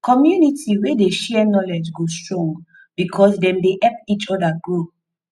community wey dey share knowledge go strong because dem dey help each other grow